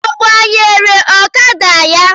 Ọ gbanyere ọkada ya?